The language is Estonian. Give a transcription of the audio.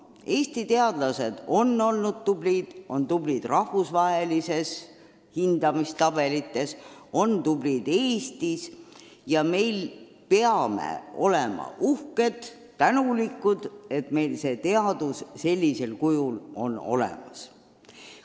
Eesti teadlased on olnud tublid – on tublid rahvusvahelistes hindamistabelites, on tublid Eestis – ja me peame olema uhked ja tänulikud, et meil see teadus sellisel kujul on olemas.